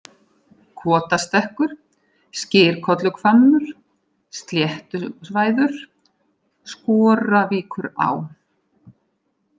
Kotastekkur, Skyrkolluhvammur, Sléttusvæður, Skoravíkurá